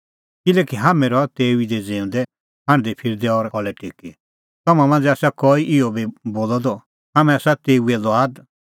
किल्हैकि हाम्हैं रहा तेऊ ई दी ज़िऊंदै हांढदैफिरदै और खल़ै टेकी तम्हां मांझ़ै आसा कई इहअ बी बोलअ द हाम्हैं आसा तेऊए ई लुआद